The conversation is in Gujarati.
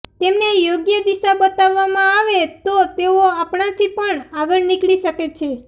તેમને યોગ્ય દિશા બતાવવામાં આવે તો તેઓ આપણાથી પણ આગળ નીકળી શકે છે